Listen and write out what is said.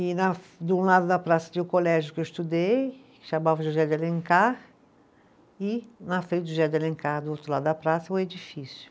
E na, de um lado da praça tinha o colégio que eu estudei, que chamava José de Alencar, e na frente do José de Alencar, do outro lado da praça, o edifício.